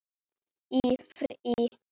Í frí.